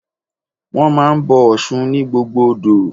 Wọ́n máa ń bọ Ọ̀ṣun ni gbogbo odò.